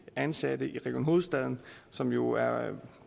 ansatte i region hovedstaden som jo er